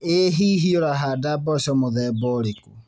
Ĩ hihi ũrahanda mboco mũthemba ũrĩkũ